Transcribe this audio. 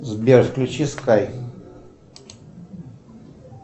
сбер включи скайп